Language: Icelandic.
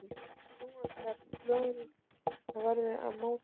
Þessum hrottaskap lögreglunnar verður að mótmæla